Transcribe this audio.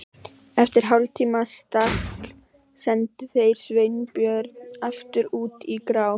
Eftir hálftíma stagl sendu þeir Sveinbjörn aftur út í grá